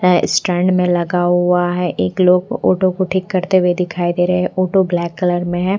है स्टैंड में लगा हुआ है एक लोग ओटो को ठीक करते हुए दिखाई दे रहे हैं ओटो ब्लैक कलर में है।